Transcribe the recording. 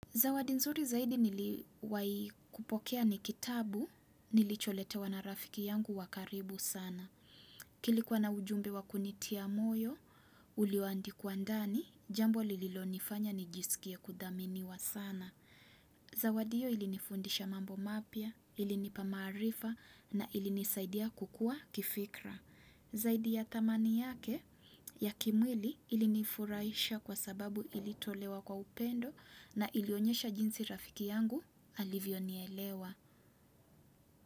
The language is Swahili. Zawadi nzuri zaidi niliwahi kupokea ni kitabu nilicholetewa na rafiki yangu wa karibu sana. Kilikuwa na ujumbe wa kunitia moyo, ulioandikwa ndani, jambo lililonifanya nijisikie kudhaminiwa sana. Zawadi hiyo ilinifundisha mambo mapya, ilinipa maarifa na ilinisaidia kukua kifikra. Zaidi ya thamani yake ya kimwili ilinifurahisha kwa sababu ilitolewa kwa upendo na ilionyesha jinsi rafiki yangu alivyonielewa.